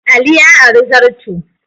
Ali ya ari zarto.